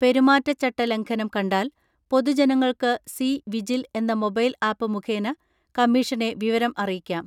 പെരുമാറ്റച്ചട്ട ലംഘനം കണ്ടാൽ പൊതുജനങ്ങൾക്ക് സി വിജിൽ എന്ന മൊബൈൽ ആപ്പ് മുഖേന കമ്മിഷനെ വിവരം അറിയിക്കാം.